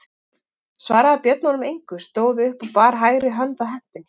Svaraði Björn honum engu, stóð upp og bar hægri hönd að hempunni.